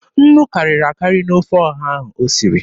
Nnu karịrị akarị n'ofe ọha ahụ o siri.